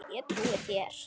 Ég trúi þér